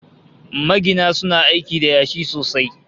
Magina suna aiki da yashi sosai